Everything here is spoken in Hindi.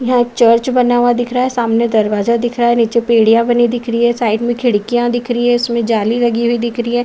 यहां एक चर्च बना हुआ दिख रहा है। सामने दरवाजा दिख रहा है। नीचे बेडिया बनी दिख रही है। साइड में खिड़कीयां दिख रही हैं उसमें जाली लगी हुई दिख रही हैं।